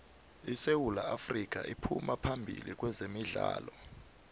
isewu afrika iphuma phambili kwezemidlalo